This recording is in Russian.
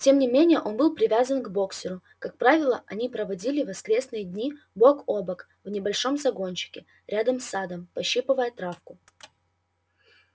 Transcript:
тем не менее он был привязан к боксёру как правило они проводили воскресные дни бок о бок в небольшом загончике рядом с садом пощипывая травку